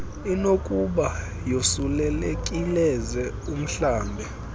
inokuba yosulelekileze umhlambe